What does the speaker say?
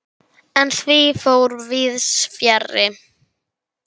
En því fór víðs fjarri.